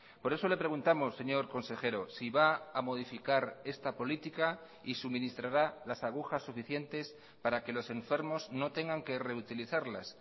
por eso le preguntamos señor consejero si va a modificar esta política y suministrará las agujas suficientes para que los enfermos no tengan que reutilizarlas